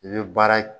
I bɛ baara